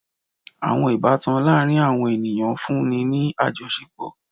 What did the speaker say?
Awọn ibatan laarin awọn eniyan nfunni ni ajọṣepọ